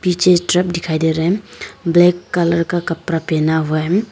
पीछे ट्रक दिखाई दे रहा है ब्लैक कलर का कपड़ा पहना हुआ है।